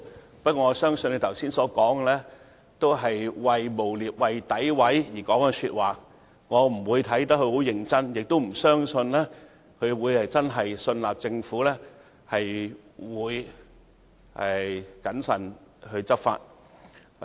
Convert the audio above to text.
然而，我相信他剛才所說的話，只是為了詆毀我們而說，我對此不會太認真，亦不相信他真的信納政府會謹慎執法。